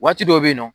Waati dɔ bɛ yen nɔ